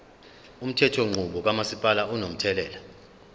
umthethonqubo kamasipala unomthelela